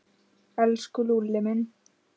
Elsku Lúlli minn.